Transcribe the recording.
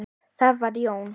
Það var Jón